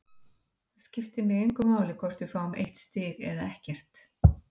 Það skiptir mig engu máli hvort við fáum eitt stig eða ekkert.